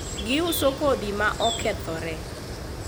giuso kodhi ma okethore